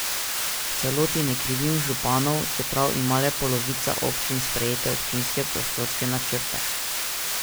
V celoti ne krivim županov, čeprav ima le polovica občin sprejete občinske prostorske načrte.